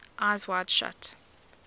eyes wide shut